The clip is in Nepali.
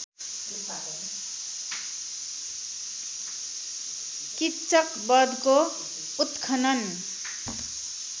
किच्चक वधको उत्खनन